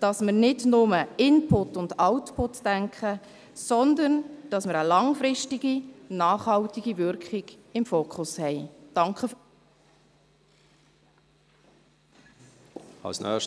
dass wir nicht nur an Input und Output denken, sondern dass wir eine langfristige nachhaltige Wirkung im Fokus haben.